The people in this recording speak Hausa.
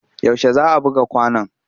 Yaushe za a buga kwanon?